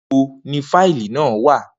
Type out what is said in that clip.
Nibo ni fáìlì naa wa?